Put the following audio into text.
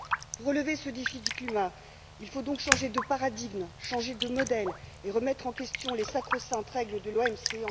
Pour relever ce défi du climat, il faut donc changer de paradigme, changer de modèle et remettre en question les sacro saintes règles de l'OMC.